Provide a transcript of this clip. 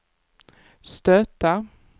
stöta